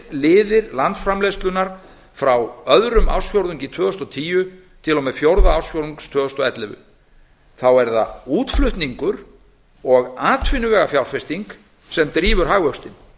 undirliðir landsframleiðslunnar frá öðrum ársfjórðungi tvö þúsund og tíu til og með fjórða ársfjórðungs tvö þúsund og ellefu er það útflutningur og atvinnuvegafjárfesting sem drífur hagvöxtinn